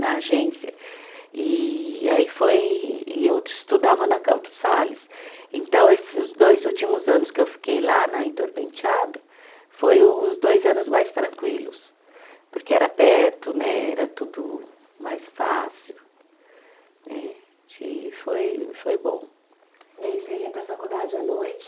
Na agência e aí foi, e eu estudava na Campos Sales então esses dois últimos anos que eu fiquei lá na Heitor Penteado, foi os dois anos mais tranquilos porque era perto né, era tudo mais fácil né, e foi foi bom. E aí você ia para a faculdade à noite